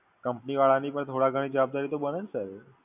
Company વાળાની પણ થોડા ઘણી જવાબદારી તો બને Sir?